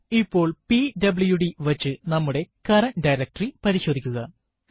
ഇപ്പോൾ PWD command വച്ച് നമ്മുടെ കറന്റ് ഡയറക്ടറി പരിശോധിക്കുക